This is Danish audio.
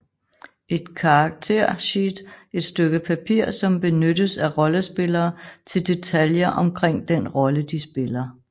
Et character sheet et stykke papir som benyttes af rollespillere til detaljer omkring den rolle de spiller